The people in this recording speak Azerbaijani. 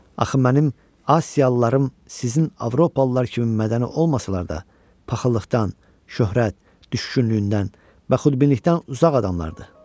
Axı mənim asiyalılarım sizin avropalılar kimi mədəni olmasalar da, paxıllıqdan, şöhrət, düşkünlüyündən və xudbinlikdən uzaq adamlardır.